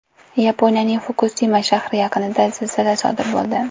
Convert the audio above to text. Yaponiyaning Fukusima shahri yaqinida zilzila sodir bo‘ldi.